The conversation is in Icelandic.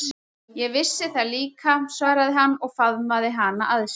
Ég vissi það líka, svaraði hann og faðmaði hana að sér.